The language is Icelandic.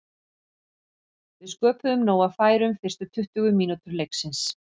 Við sköpuðum nóg af færum fyrstu tuttugu mínútur leiksins.